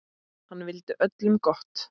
Hann vildi öllum gott.